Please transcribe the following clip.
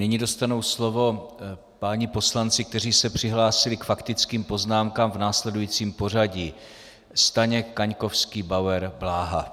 Nyní dostanou slovo páni poslanci, kteří se přihlásili k faktickým poznámkám, v následujícím pořadí: Staněk, Kaňkovský, Bauer, Bláha.